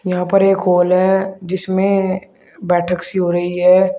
यहां पर एक हॉल है जिसमें बैठक सी हो रही है।